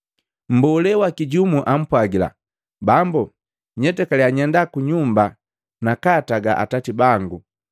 Mbolee waki jumu ampwagila, “Bambu, nyetakaliya nyenda kunyumba nakaataga atati bangu.”